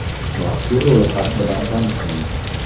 Mazkur ro‘yxat bilan tanishing: !